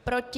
Proti?